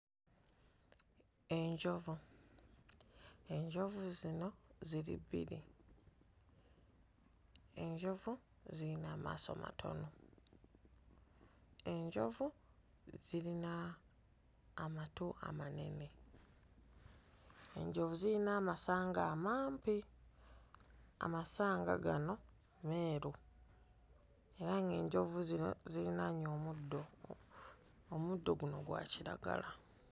Enjovu, enjovu zino ziri bbiri enjovu ziyina amaaso matono enjovu zirina amatu amanene enjovu ziyina amasanga amampi amasanga gano meeru era nga enjovu zino zirinaanye omuddo omuddo guno gwa kiragala.